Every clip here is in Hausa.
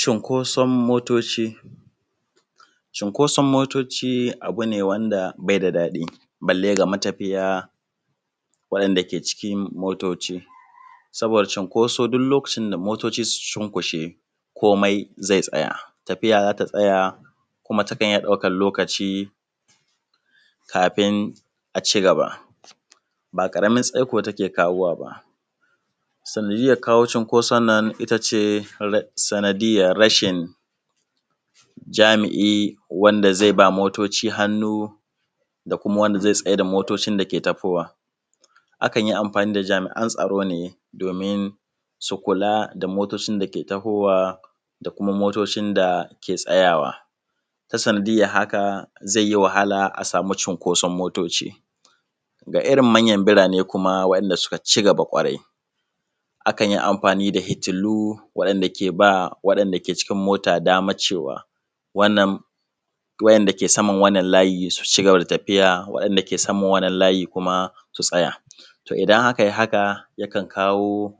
Cunkoson motoci. Cunkoson motoci abu ne wanda be da daɗi balle ga matafiya waɗanda ke cikin motoci, saboda cunkoso duk lokacin da motoci suka cunkushe komai ze tsaya tafiya za ta tsaya kuma takan iya ɗaukan lokaci kafun a cigaba. Ba ƙaramin tsaiko take kawo wa ba sanadiyan kawo cunkoson nan shi ne sanadiyar rashin jami’i wanda ze ba motoci hannu da kuma wanda ze tsai da motocin dake tahowa, akan yi amfani da jami’an tsaro ne domin su kula da motocin dake tahowa da kuma motocin da ke tsayawa. Ta sanadiyar haka ze yi wahala a samu cunkoson motoci ga irin manyan mutane da kuma wa’inda suka ci gaba kwarai akan yi amfani da injinansu waɗanda ke ba waɗanda ke cigaba da ba motoci daman wucewa, wanda ke saman wannan layi su cigaba da tafiya waɗanda ke saman wannan layi su tsaya. To, idan a kai haka yakan kawo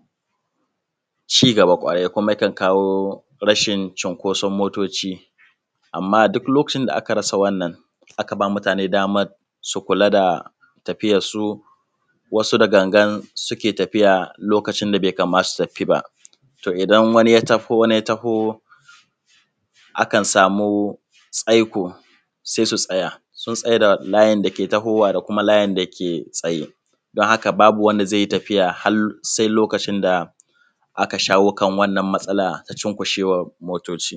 cigaba kuma yakan kawo rashin cukoson motoci, amma duk lokacin da aka rasa wannan haka mutane dama su kula da tafiyansu wasu da gangar suke tafiya lokacin da be kamata su tafi ba. To, idan wani ya taho wani ya taho a kan samu tsayi to se su tsaya, sun tsai da bayan dake tahowa da kuma wanda ke tsaye. Haka babu me tafiya har se lokacin da aka kawo ƙarken wannan matsala ta cunkushewan motoci.